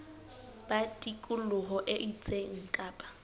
ba tikoloho e itseng kapa